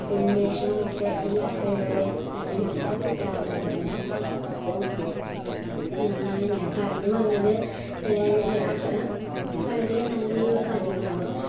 ഉന്മേഷവുമൊക്കെ ഈ യാത്രയിലൂടെ തന്നെ നമ്മുക്ക് കിട്ടാവുന്നതാണ് അപ്പം ഏർ ഞാൻ പറഞ്ഞു വന്നത് യാത്ര ഏർ വളരെ നല്ലൊരു കാര്യമാണ്